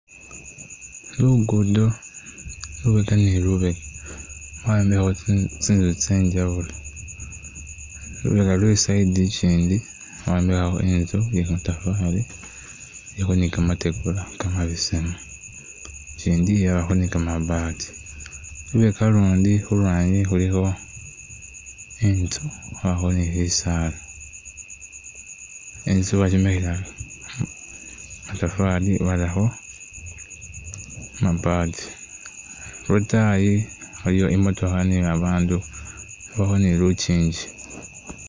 Lugudo, lubeka ni lubeka bayombekhakho tsinzu tse njawulo,,lubeka lwe side ikyindi bayombekhakho Inzu iye kamatafari ilikho ni kamatigula kamabesemu ikyindi yabakho ni ka mabaati, lubeka ulundi khulwanyi khulikho intsu khwabakho ni bi saala, intsu bakyombekhela kamatafari barakho kamabati, lwataayi waliyo imotoka ni abandu yabakho ni lukyingi.